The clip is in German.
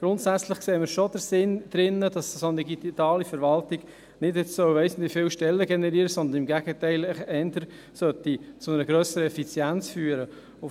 Grundsätzlich sehen wir schon den Sinn darin, dass eine solche digitale Verwaltung nicht weiss nicht wie viele Stellen generieren soll, sondern im Gegenteil eher zu einer grösseren Effizienz führen sollte.